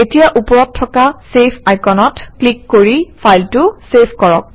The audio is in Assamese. এতিয়া ওপৰত থকা চেভ আইকনত ক্লিক কৰি ফাইলটো চেভ কৰক